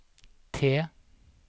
T